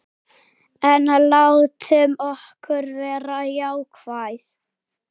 En látum okkur vera jákvæð.